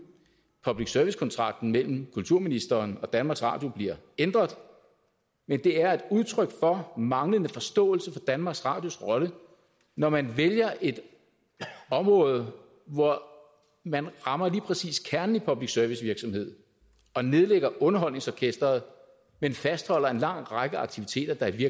at public service kontrakten mellem kulturministeren og danmarks radio bliver ændret men det er et udtryk for manglende forståelse for danmarks radios rolle når man vælger et område hvor man rammer lige præcis kernen i public service virksomhed og nedlægger underholdningsorkesteret men fastholder en lang række aktiviteter der i